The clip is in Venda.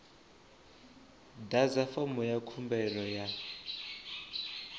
ḓadza fomo ya khumbelo ya